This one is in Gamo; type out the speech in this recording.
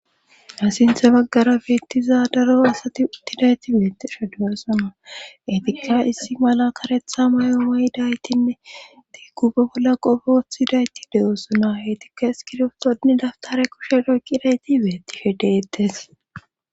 Ha sinthe maggara beettiza daro asati uttidayti beetishe de7oosona etikka issi mala karetha mayo mayidaytinne diiggu ba bolla qofoothidayti de7osona heytikka eskirtoodin daftare kushe doyqqidayti beettishe deettes.